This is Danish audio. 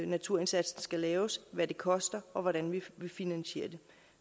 naturindsatsen skal være hvad det koster og hvordan vi finansierer det